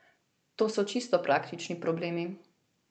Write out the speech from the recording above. To so čisto praktični problemi.